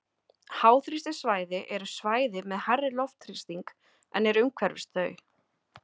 háþrýstisvæði eru svæði með hærri loftþrýsting en er umhverfis þau